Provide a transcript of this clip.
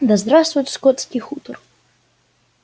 да здравствует скотский хутор